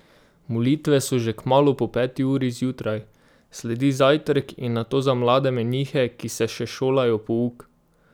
Molitve so že kmalu po peti uri zjutraj, sledi zajtrk in nato za mlade menihe, ki se še šolajo pouk.